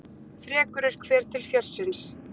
Frekur er hver til fjörsins.